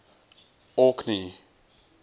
orkney